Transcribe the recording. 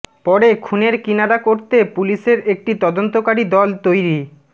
পরে খুনের কিনারা করতে পুলিশের একটি তদন্তকারী দল তৈরি